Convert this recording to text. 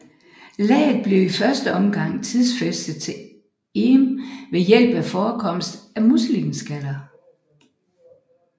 Laget blev i første omgang tidsfæstet til Eem ved hjælp af forekomst af muslingeskaller